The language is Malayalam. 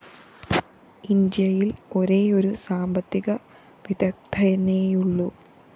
ഇന്ത്യയില്‍ ഒരേയൊരു സാമ്പത്തിക വിദഗ്ദ്ധനേയുള്ളൂ